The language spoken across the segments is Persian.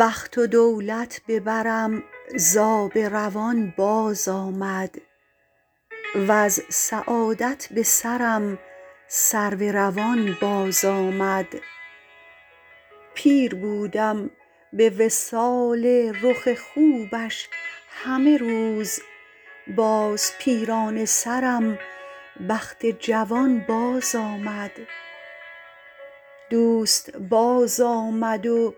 بخت و دولت به برم زآب روان باز آمد وز سعادت به سرم سرو روان باز آمد پیر بودم به وصال رخ خوبش همه روز باز پیرانه سرم بخت جوان باز آمد دوست باز آمد و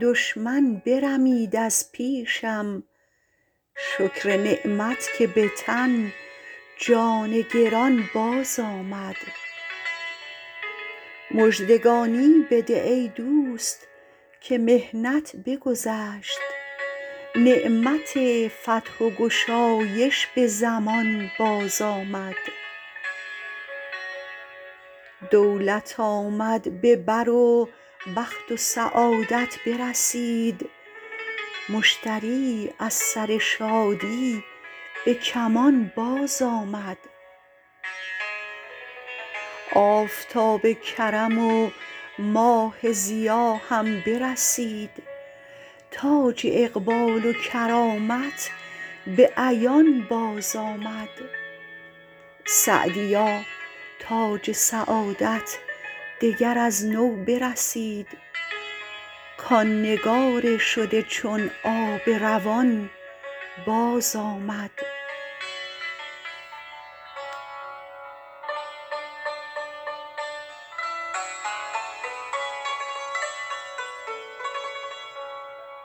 دشمن برمید از پیشم شکر نعمت که به تن جان گران باز آمد مژدگانی بده ای دوست که محنت بگذشت نعمت فتح و گشایش به زمان باز آمد دولت آمد به بر و بخت و سعادت برسید مشتری از سر شادی به کمان باز آمد آفتاب کرم و ماه ضیا هم برسید تاج اقبال و کرامت به عیان باز آمد سعدیا تاج سعادت دگر از نو برسید کان نگار شده چون آب روان باز آمد